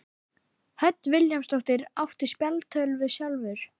Hödd Vilhjálmsdóttir: Áttu spjaldtölvu sjálfur?